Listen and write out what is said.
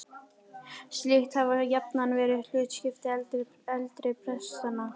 Slíkt hafði jafnan verið hlutskipti eldri prestanna.